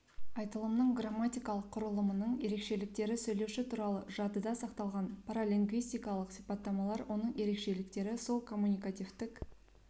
айтылымның грамматикалық құрылымының ерекшеліктері сөйлеуші туралы жадыда сақталған паралингвистикалық сипаттамалар оның ерекшеліктері сол коммуникативтік